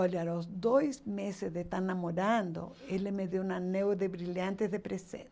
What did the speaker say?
Olha, nos dois meses de estar namorando, ele me deu um anel de brilhante de presente.